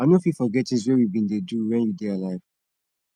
i no fit forget things wey we been dey do when you dey alive